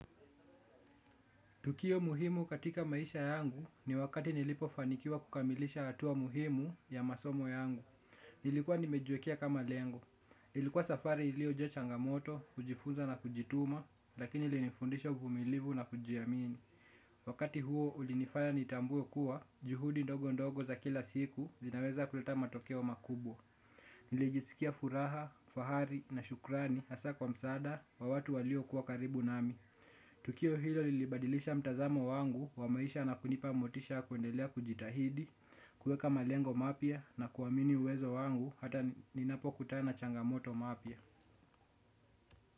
Tukio muhimu katika maisha yangu ni wakati nilipofanikiwa kukamilisha hatua muhimu ya masomo yangu. Nilikuwa nimejiwekea kama lengo. Ilikuwa safari iliyo jaachangamoto, kujifunza na kujituma, lakini ilinifundisha uvumilivu na kujiamini. Wakati huo ulinifanya nitambue kuwa, juhudi ndogo ndogo za kila siku zinaweza kuleta matokeo makubwa. Nilijisikia furaha, fahari na shukrani hasa kwa msaada wawatu walio kuwa karibu nami. Tukio hilo lilibadilisha mtazamo wangu wa maisha na kunipa motisha kwendelea kujitahidi, kuweka malengo mapya na kuamini uwezo wangu hata ninapo kutana nachangamoto mapya.